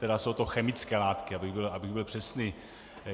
Tedy jsou to chemické látky, abych byl přesný.